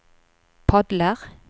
padler